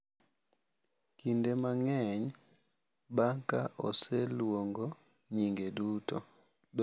Kinde mang’eny, bang’ ka oseluongo nyinge duto, .